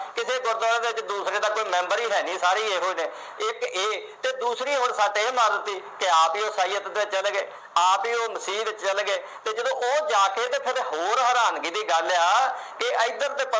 ਗੁਰਦੁਆਰਿਆਂ ਵਿਚ ਦੂਸਰੇ ਦਾ ਕੋਈ ਮੈਂਬਰ ਹੀਂ ਹੈਨੀ ਸਾਰੇ ਇਹੋ ਜਿਹੇ ਇਕ ਇਹ ਤੇ ਦੂਸਰੀ ਹੁਣ ਸੱਟ ਇਹ ਲਾ ਦਿੱਤੀ ਕਿ ਆਪ ਹੀ ਉਹ ਇਸਾਈਅਤ ਵਿਚ ਚਲੇ ਗਏ ਆਪ ਹੀ ਉਹ ਚਲੇ ਗਏ ਤੇ ਜਦੋਂ ਉਹ ਜਾ ਕੇ ਹੋਰ ਹੈਰਾਨਗੀ ਦੀ ਗੱਲ ਆ ਕਿ ਇਧਰ ਤੇ